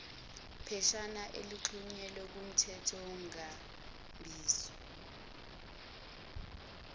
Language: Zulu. pheshana elixhunyelwe kumthethonkambiso